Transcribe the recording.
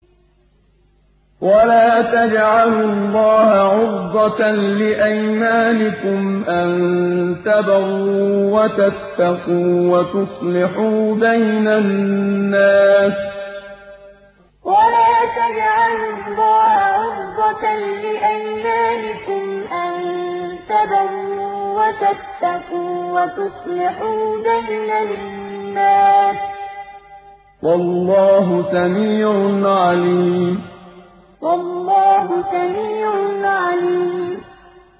وَلَا تَجْعَلُوا اللَّهَ عُرْضَةً لِّأَيْمَانِكُمْ أَن تَبَرُّوا وَتَتَّقُوا وَتُصْلِحُوا بَيْنَ النَّاسِ ۗ وَاللَّهُ سَمِيعٌ عَلِيمٌ وَلَا تَجْعَلُوا اللَّهَ عُرْضَةً لِّأَيْمَانِكُمْ أَن تَبَرُّوا وَتَتَّقُوا وَتُصْلِحُوا بَيْنَ النَّاسِ ۗ وَاللَّهُ سَمِيعٌ عَلِيمٌ